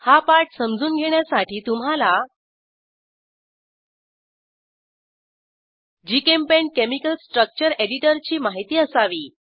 हा पाठ समजून घेण्यासाठी तुम्हाला जीचेम्पेंट केमिकल स्ट्रक्चर एडिटरची माहिती असावी